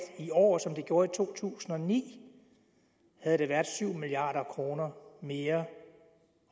i år som de gjorde i to tusind og ni havde der været syv milliard kroner mere